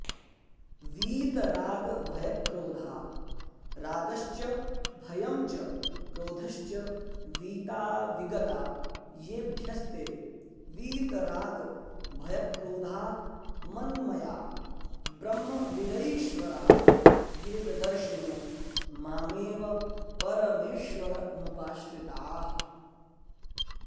वीतरागभयक्रोधा रागश्च भयं च क्रोधश्च वीता विगता येभ्यस्ते वीतरागभयक्रोधा मन्मया ब्रह्मविदईश्वराभेददर्शिनो मामेव परमेश्वरमुपाश्रिताः